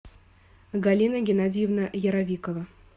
галина геннадьевна яровикова